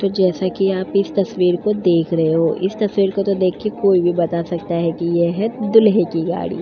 तो जैसा कि आप इस तस्वीर को देख रहे हो इस तस्वीर को तो देखकर कोई भी बता सकता है यह है दूल्हे की गाड़ी।